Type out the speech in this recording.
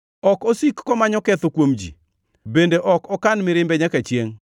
Ok osik komanyo ketho kuom ji, bende ok okan mirimbe nyaka chiengʼ;